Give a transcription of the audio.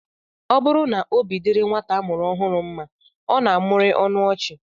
Ọ bụrụ na obi dịrị nwata a mụrụ ọhụụ mma, ọ na-amụrị ọnụ ọchị